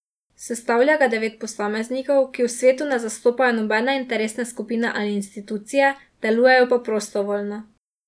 Sestavlja ga devet posameznikov, ki v svetu ne zastopajo nobene interesne skupine ali institucije, delujejo pa prostovoljno.